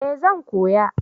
eh zan koya